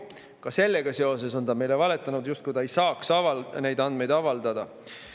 Ka sellega seoses on ta meile valetanud, justkui ta ei saaks neid andmeid avaldada.